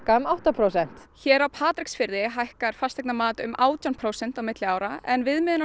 um átta prósent hér á Patreksfirði hækkar fasteignamat um átján prósent á milli ára en